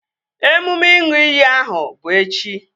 Emume ịṅụ iyi ahụ bụ echi